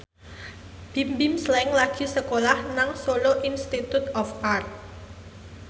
Bimbim Slank lagi sekolah nang Solo Institute of Art